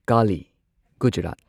Kali Gujarat